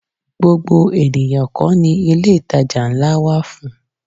Gbogbo ènìyàn kọ́ ni ilé-ìtajà ńlá wà fún